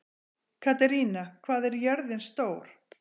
Katerína, hvað er jörðin stór?